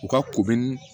U ka ko bɛ ni